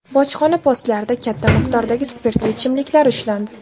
Bojxona postlarida katta miqdordagi spirtli ichimliklar ushlandi.